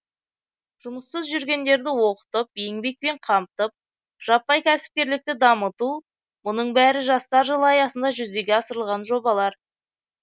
жұмыссыз жүргендерді оқытып еңбекпен қамтып жаппай кәсіпкерлікті дамыту мұның бәрі жастар жылы аясында жүзеге асырылған жобалар